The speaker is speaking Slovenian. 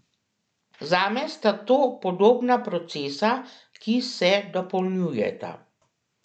Zame sta to podobna procesa, ki se dopolnjujeta.